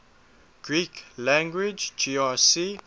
greek lang grc